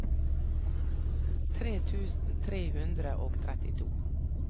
tre tusen tre hundre og trettito